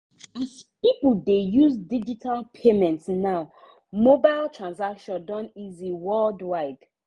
as people dey use digital payment now mobile transactions don easy worldwide.